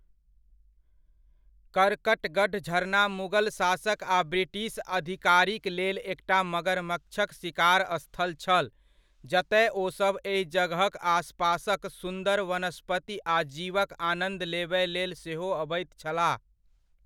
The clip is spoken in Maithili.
करकटगढ़ झरना मुगल शासक आ ब्रिटिश अधिकारीक लेल एकटा मगरमच्छक शिकार स्थल छल, जतय ओसभ एहि जगहक आसपासक सुंदर वनस्पति आ जीवक आनंद लेबय लेल सेहो अबैत छलाह ।